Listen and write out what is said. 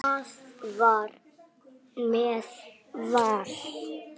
Það var með Val.